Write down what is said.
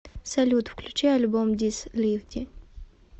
салют включи альбом дис лифди